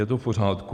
Je to v pořádku?